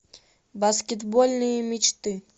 баскетбольные мечты